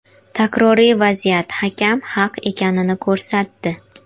Takroriy vaziyat hakam haq ekanini ko‘rsatdi.